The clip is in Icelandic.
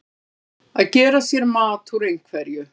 Að gera sér mat úr einhverju